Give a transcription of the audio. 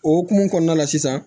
O hokumu kɔnɔna la sisan